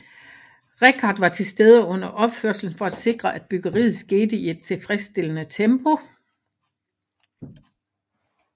Richard var tilstede under opførelsen for at sikre at byggeriet skete i et tilfredsstillende tempo